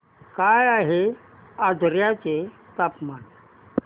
काय आहे आजर्याचे तापमान